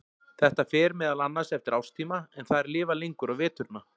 Þetta fer meðal annars eftir árstíma en þær lifa lengur á veturna.